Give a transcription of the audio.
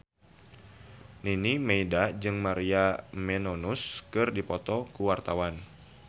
Nining Meida jeung Maria Menounos keur dipoto ku wartawan